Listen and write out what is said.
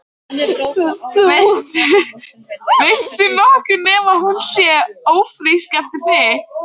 Veistu nokkuð nema hún sé ófrísk eftir þig?